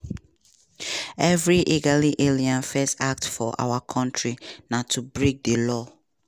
"evri illegal alien first act for our kontri na to break di law."